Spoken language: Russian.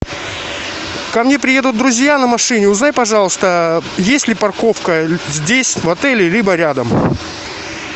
ко мне приедут друзья на машине узнай пожалуйста есть ли парковка здесь в отеле либо рядом